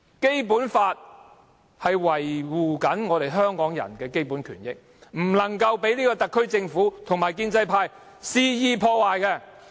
《基本法》維護香港人的基本權益，不能被這個特區政府及建制派肆意破壞。